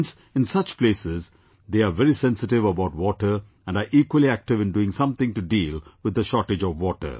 Hence, in such places they are very sensitive about water and are equally active in doing something to deal with the shortage of water